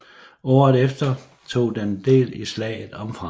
Året efter tog den del i slaget om Frankrig